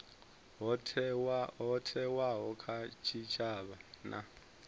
ho thewaho kha tshitshavha na